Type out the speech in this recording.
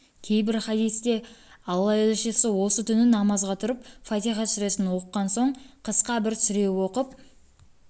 кейбір хадисте алла елшісі осы түні намазға тұрып фатиха сүресін оқыған соң қысқа бір сүре оқып